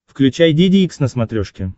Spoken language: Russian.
включай деде икс на смотрешке